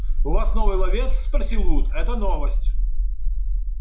у вас новый ловец спросил вуд это новость